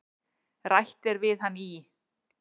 Rætt er við hann í